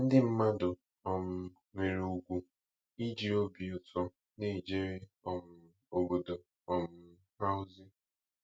Ndị mmadụ um nwere ùgwù iji obi ụtọ na-ejere um obodo um ha ozi.